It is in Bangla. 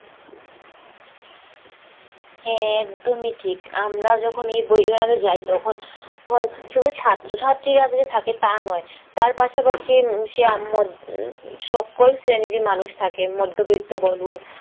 হ্যাঁ একদমই ঠিক আমরা যখন বই মেলায় যাই তখন শুধু ছাত্র ছাত্রীরা যে থাকে তা নয় তার পাশাপাশি উম সকল শ্রেণীরই মানুষ থাকে মধ্যবিত্ত বলুন